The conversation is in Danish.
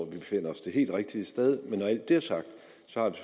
befinder os det helt rigtige sted men når det er sagt